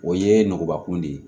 O ye nugubakun de ye